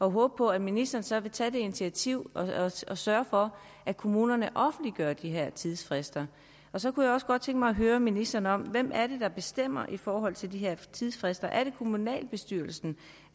håber på at ministeren så vil tage det initiativ at sørge for at kommunerne offentliggør de her tidsfrister så kunne jeg også godt tænke mig at høre ministeren om hvem det er der bestemmer i forhold til de her tidsfrister er det kommunalbestyrelsen